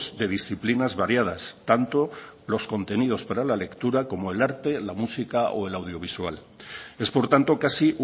de disciplinas variadas tanto los contenidos para la lectura como el arte la música o el audiovisual es por tanto casi